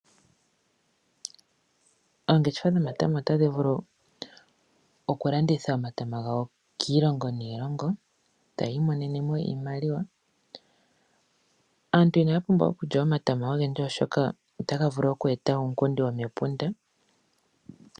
Oongeshefa dhomatama otadhi vulu oku landhitha omatama gawo kiilongo niilongo, tayi i monene mo iimaliwa. Aantu ina ya pumbwa okulya omatama ogendji noonkondo oshoka otaga vulu oku eta uunkundi womepunda.